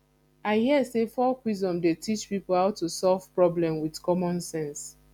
i hear sey folk wisdom dey teach pipo how to solve problem wit common sense